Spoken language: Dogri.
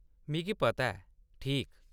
मिगी पता ऐ, ठीक ?